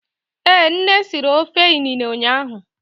Ee nne siri ofe inine ụnyahụ